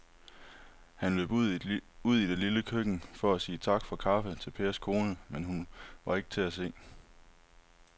Han løb ud i det lille køkken for at sige tak for kaffe til Pers kone, men hun var ikke til at se.